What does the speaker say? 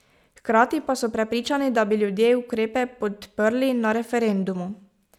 Hkrati pa so prepričani, da bi ljudje ukrepe podprli na referendumu.